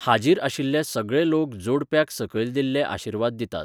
हाजीर आशिल्ले सगळे लोक जोडप्याक सकयल दिल्ले आशीर्वाद दितात.